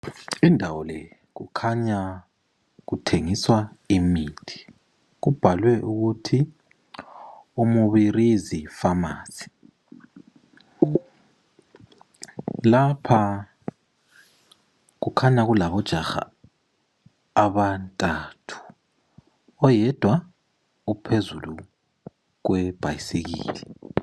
Indawo le kukhanya kuthengiswa imithi, kubhalwe ukuthi umubirizi pharmacy ,lapha kukhanya kulabo jaha abathathu, oyedwa uphezulu kwebhasikili.